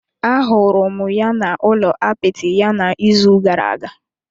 Ahụrụ m ya n’ụlọ apịtị ya n’izu gara aga